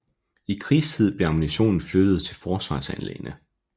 I krigstid blev ammunitionen flyttet til forsvarsanlæggene